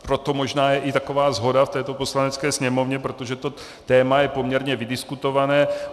Proto možná je i taková shoda v této Poslanecké sněmovně, protože to téma je poměrně vydiskutované.